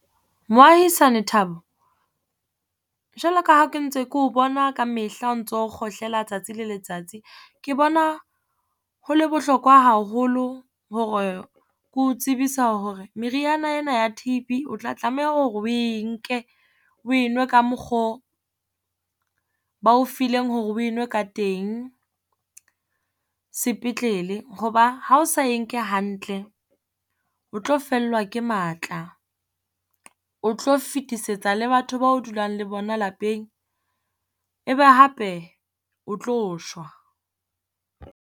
Moahisane Thabo, jwalo ka ha ke ntse keo bona ka mehla o ntso kgohlela tsatsi le letsatsi. Ke bona ho le bohlokwa haholo hore ke o tsebisa hore meriana ena ya T_B o tla tlameha hore oe nke, oe nwe ka mokgo ba o fileng hore oe nwe ka teng sepetlele. Hoba ha o sa e nke hantle, o tlo fellwa ke matla, o tlo fetisetsa le batho bao dulang le bona lapeng, e be hape o tlo shwa.